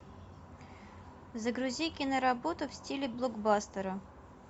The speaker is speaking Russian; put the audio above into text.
загрузи киноработу в стиле блокбастера